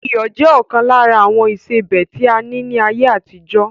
Iyọ̀ jẹ ọkan lára àwọn ìsebẹ́ tí a ní ni ayé àtijọ́